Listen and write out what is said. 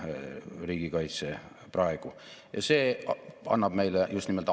Järgmise viie aasta jooksul jääb vanuserühmas 20–64-aastased vähemaks umbes 31 000 inimest.